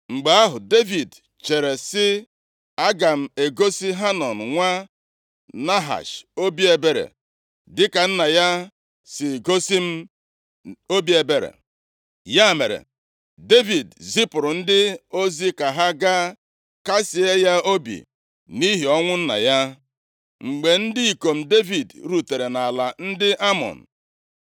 Mgbe ahụ, Devid chere sị, “Aga m egosi Hanọn nwa Nahash obi ebere dịka nna ya si gosi m obi ebere.” Ya mere, Devid zipụrụ ndị ozi ka ha gaa kasịe ya obi nʼihi ọnwụ nna ya. Mgbe ndị ikom Devid rutere nʼala ndị Amọn,